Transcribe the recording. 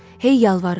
Hey yalvarırdı: